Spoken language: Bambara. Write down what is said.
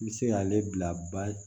N bɛ se k'ale bila ba